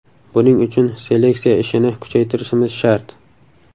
Buning uchun seleksiya ishini kuchaytirishimiz shart.